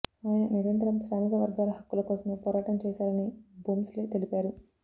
ఆయన నిరంతరం శ్రామిక వర్గాల హక్కుల కోసమే పోరాటం చేశారని భోంస్లే తెలిపారు